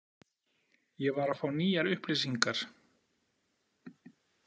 Ég var að fá nýjar upplýsingar.